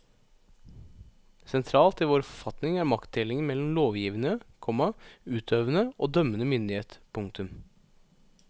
Sentralt i vår forfatning er maktdelingen mellom lovgivende, komma utøvende og dømmende myndighet. punktum